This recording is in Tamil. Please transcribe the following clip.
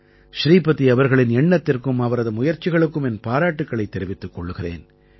ஸ்ரீபதி அவர்களின் எண்ணத்திற்கும் அவரது முயற்சிகளுக்கும் என் பாராட்டுக்களைத் தெரிவித்துக் கொள்கிறேன்